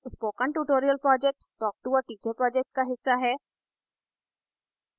spoken tutorial project talktoa teacher project का हिस्सा है